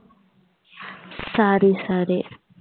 சரி சரி